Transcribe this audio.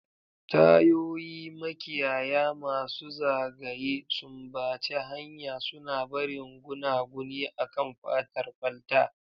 Tayoyi, makiyaya masu zagaye, sumbace hanya, suna barin gunaguni akan fatar kwalta.